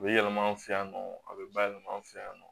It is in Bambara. U bɛ yɛlɛma an fɛ yan nɔ a bɛ bayɛlɛma an fɛ yan nɔ